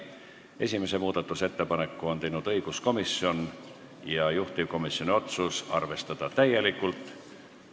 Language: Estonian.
Esimese muudatusettepaneku on teinud õiguskomisjon ja juhtivkomisjoni otsus on arvestada täielikult.